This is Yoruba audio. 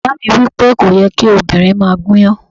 Bàbá mi wí pé, "kò yẹ kí obìnrin máa gúnyán."